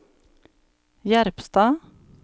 Jerpstad